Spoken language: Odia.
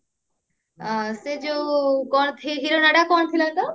ହଁ ସେ ଯୋଉ hero ନାଁ ଟା କଣ ଥିଲା ତ